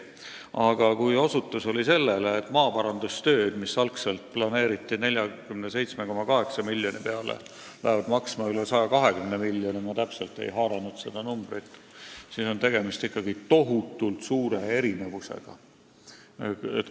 Aga kui maaparandustööd, mis pidid võtma 47,8 miljonit eurot, lähevad maksma üle 120 miljoni – ma ehk ei jõudnud päris täpselt meelde jätta –, siis on ikkagi tegemist tohutult suure erinevusega.